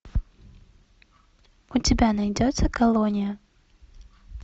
у тебя найдется колония